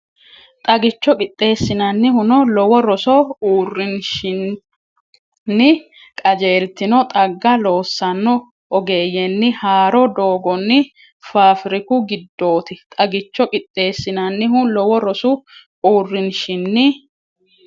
Xagicho qixxeessinannihuno lowo rosu uurrin- shinni qajeeltino xagga loossanno ogeeyyenni haaro doogonni faafriku giddooti Xagicho qixxeessinannihuno lowo rosu uurrin- shinni.